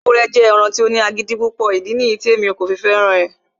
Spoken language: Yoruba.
ewúrẹ jẹ ẹranko ti o ni agidi pupọ, idi niyi ti emi ko fẹran rẹ